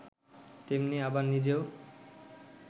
তেমনি আবার নিজেও